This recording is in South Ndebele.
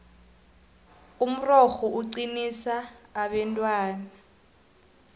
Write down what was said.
umrorho uqinisa abentwana